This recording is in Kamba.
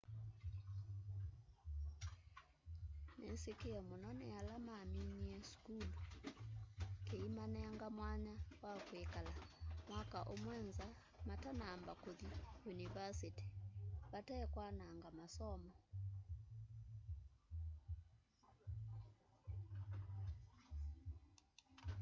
nikisikie mũno ni ala maminie sukulu kiimanenga mwanya wa kwikala mwaka ũmwe nza matanamba kuthi yunivasiti vate kwananga masomo